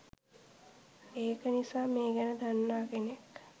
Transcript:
ඒක නිසා මේ ගැන දන්නා කෙනෙක්